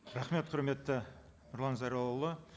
рахмет құрметті нұрлан зайроллаұлы